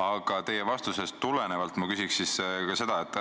Aga teie vastusest tulenevalt ma küsiks seda, et